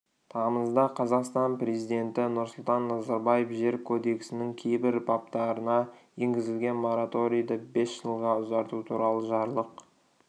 тамызда қазақстан президенті нұрсұлтан назарбаев жер кодексінің кейбір баптарына енгізілген мораторийді бес жылға ұзарту туралы жарлық